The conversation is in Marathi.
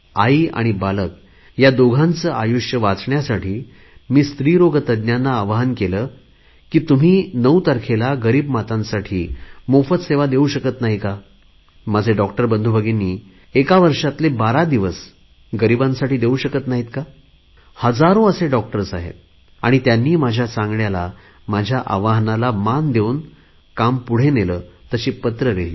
आई आणि बालक या दोघांचे आयुष्य वाचण्यासाठी मी स्त्री रोग तज्ञांना आवाहन केले की तुम्ही 9 तारखेला गरीब मातांसाठी मोफत सेवा देऊ शकत नाही का माझे डॉक्टर बंधूभगिनी एका वर्षातले बारा दिवस गरीबांसाठी देऊ शकत नाहीत का हजारो असे डॉक्टर्स आहेत त्यांनी माझ्या सांगण्याला आवाहनाला मान देऊन काम पुढे नेले तशी पत्रे लिहिली